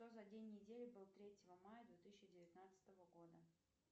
что за день недели был третьего мая две тысячи девятнадцатого года